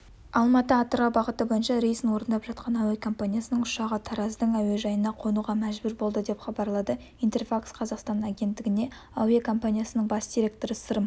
алматы-атырау бағыты бойынша рейсін орындап жатқан әуекомпаниясының ұшағы тараздың әуежайына қонуға мәжбүр болды деп хабарлады интерфакс-қазақстан агенттігіне әуекомпанияның бас директоры сырым